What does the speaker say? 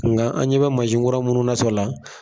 Ŋa an ɲɛ bɛ mansi kura munnu nasɔ la